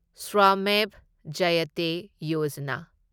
Shramev Jayate Yojana